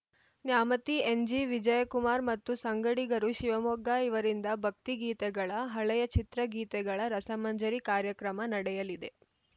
Nyamathi N G Vijayakumar ಮತ್ತು ಸಂಗಡಿಗರು ಶಿವಮೊಗ್ಗ ಇವರಿಂದ ಭಕ್ತಿಗೀತೆಗಳ ಹಳೆಯ ಚಿತ್ರಗೀತೆಗಳ ರಸಮಂಜರಿ ಕಾರ್ಯಕ್ರಮ ನಡೆಯಲಿದೆ